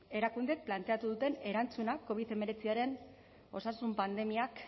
erakundeek planteatu duten erantzuna covid hemeretziaren osasun pandemiak